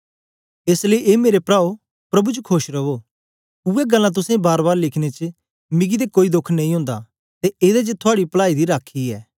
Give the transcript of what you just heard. एस लेई ए मेरे प्राओ प्रभु च खोश रवो उवै गल्लां तुसें बारबार लिखने च मिकी ते कोई दोख नेई ओंदा ते एदे च थूआडी पलाई दी राखी ऐ